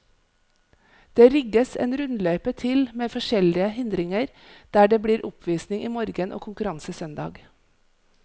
Det rigges en rundløype til med forskjellige hindringer, der det blir oppvisning i morgen og konkurranse søndag.